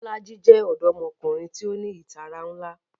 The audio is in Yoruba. Bolaji jẹ ọdọmọkunrin ti o ni itara nla